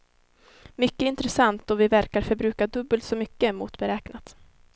Mycket intressant då vi verkar förbruka dubbelt så mycket mot beräknat.